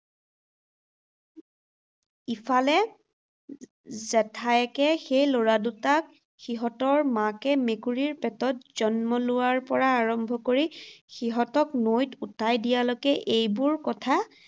ইফালে জেঠায়েকে সেই ল’ৰা দুটাক, সিহঁতৰ মাকে মেকুৰীৰ পেটত জন্ম লোৱাৰে পৰা আৰম্ভ কৰি সিহঁতক নৈত উটাই দিয়ালৈকে এইবোৰ কথা